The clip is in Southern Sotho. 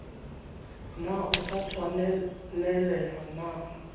na o sa tshwanelaha na